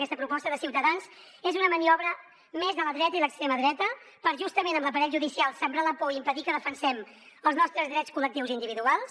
aquesta proposta de ciutadans és una maniobra més de la dreta i l’extrema dreta per justament amb l’aparell judicial sembrar la por i impedir que defensem els nostres drets col·lectius i individuals